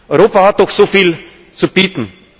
das? Europa hat doch so viel zu bieten!